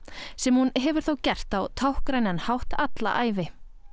sem hún hefur þó gert á táknrænan hátt alla ævi